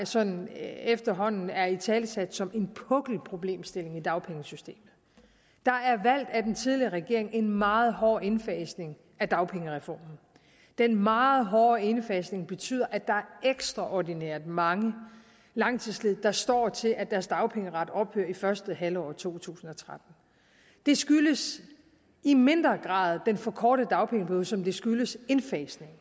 sådan efterhånden er italesat som en pukkelproblemstilling i dagpengesystemet der er af den tidligere regering valgt en meget hård indfasning af dagpengereformen den meget hårde indfasning betyder at der er ekstraordinært mange langtidsledige der står til at deres dagpengeret ophører i første halvår af to tusind og tretten det skyldes i mindre grad den forkortede dagpengeperiode som det skyldes indfasningen